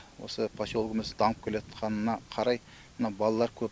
осы поселогіміз дамып келатқанына қарай мына балалар көп